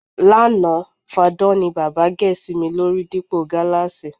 Lánàá, fadán ni bábà gè̩ sí mi lórí dípò gáláàsì.